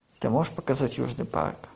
ты можешь показать южный парк